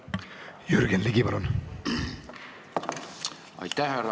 Jürgen Ligi, palun!